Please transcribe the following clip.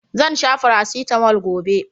Zan sha farasitamol gobe.